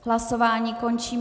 Hlasování končím.